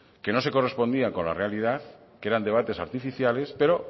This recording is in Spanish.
que no se correspondían con la realidad que eran debates artificiales pero